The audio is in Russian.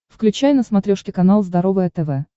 включай на смотрешке канал здоровое тв